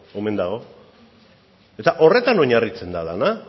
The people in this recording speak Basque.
omen dago eta horretan oinarritzen da dena